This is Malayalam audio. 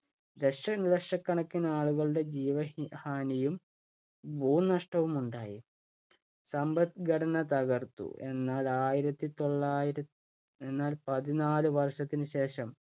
ദശലക്ഷക്കണക്കിനാളുകളുടെ ജീവ ഹാനിയും, ഭൂനഷ്ടവുമുണ്ടായി. സമ്പദ്ഘടന തകർത്തു. എന്നാൽ ആയിരത്തി തൊള്ളായിര എന്നാല്‍ പതിനാല് വർഷത്തിന് ശേഷം